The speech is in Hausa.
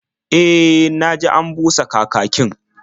E, na ji an busa kakakin.